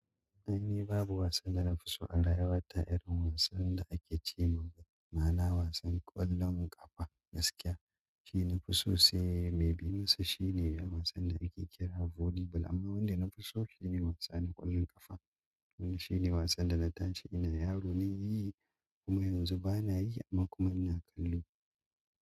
Ni babu wasan da na fi so a rayuwa ta irin wasan da ake ce ma mana wasan ƙwallon ƙafa gaskiya shine na fi so sai mai bi masa shine wasan da ake kira volleyball amma wanda na fi so shine wasana ƙwallon ƙafa shine wasan da na tashi ina yaro nayi kuma yanzu bana yi amma kuma ina kallo.